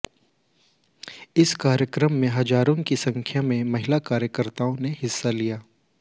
इस कार्यक्रम में हजारों की संख्या में महिला कार्यकर्ताओं ने हिस्सा लिया